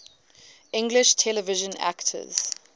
english television actors